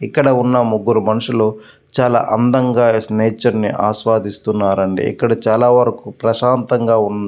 ఇక్కడ ఉన్న ముగ్గురు మనుషులు చాలా అందంగా నేచర్ ని ఆస్వాదిస్తున్నారండి ఇక్కడ చాల ప్రశాంతంగా ఉం --